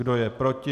Kdo je proti?